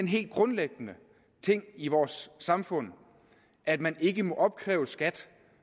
helt grundlæggende ting i vores samfund at man ikke må opkræve skat